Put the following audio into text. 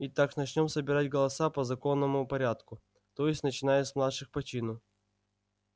итак начнём собирать голоса по законному порядку то есть начиная с младших по чину